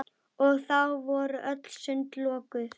Og þá voru öll sund lokuð!